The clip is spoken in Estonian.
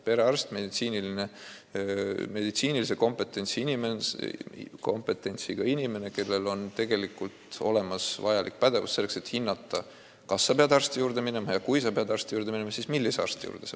Perearst on meditsiinilise kompetentsiga inimene, kellel on olemas vajalik pädevus, et hinnata, kas sa pead eriarsti juurde minema, ja kui sa pead sinna minema, siis millise arsti juurde.